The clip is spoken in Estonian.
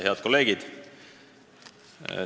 Head kolleegid!